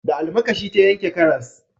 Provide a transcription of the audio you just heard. Da almakashi ta yanke karas